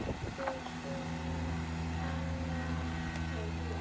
Þau hjón, Jóhanna og